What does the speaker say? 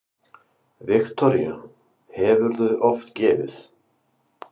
Viktoría: Hefurðu oft gefið?